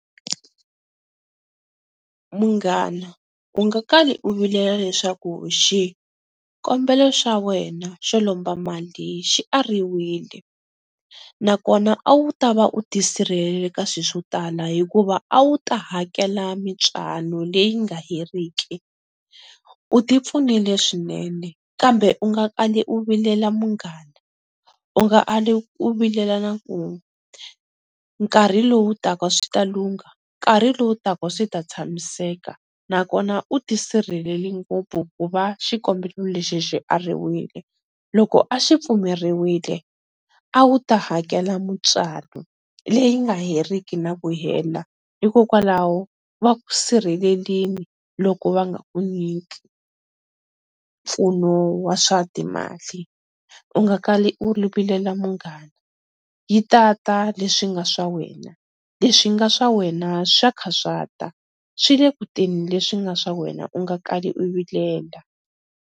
Munghana u nga kali u vilela leswaku xikombelo xa wena xo lomba mali xi ariwile, na kona a wu ta va u tisirhelelile ka swi swo tala hikuva a wu ta hakela mitswalo leyi nga heriki, u ti pfunile swinene kambe u nga kali u vilela munghana u nga ali u vilela na ku n'we, nkarhi lowu ta ka swi ta lungha, nkarhi lowu taka swi ta tshamiseka na kona u tisirheleli ngopfu ku va xikombelo lexi xi ariwile, loko a xi pfumeriwile a wu ta hakela mitswalo leyi nga heriki na ku hela hikokwalaho, va ku sirhelelini loko va nga nyiki mpfuno wa swa timali, u nga kali u vilela munghana yi ta ta leswi nga swa wena, leswi nga swa wena swa kha swa ta swi le kutani leswi nga swa wena u nga kali u vilela.